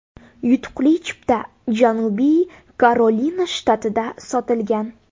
Yutuqli chipta Janubiy Karolina shtatida sotilgan.